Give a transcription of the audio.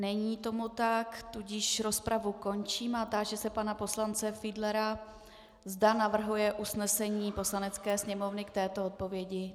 Není tomu tak, tudíž rozpravu končím a táži se pana poslance Fiedlera, zda navrhuje usnesení Poslanecké sněmovny k této odpovědi.